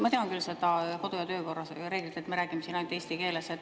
Ma tean küll seda kodu‑ ja töökorra reeglit, et me räägime siin ainult eesti keeles.